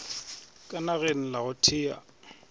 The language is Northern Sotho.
ka nageng la go thea